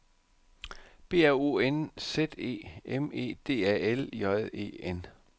B R O N Z E M E D A L J E N